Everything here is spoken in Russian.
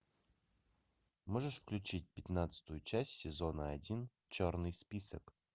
можешь включить пятнадцатую часть сезона один черный список